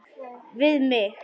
Við mig.